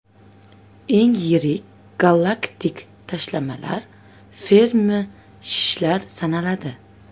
Eng yirik galaktik tashlamalar Fermi shishlari sanaladi.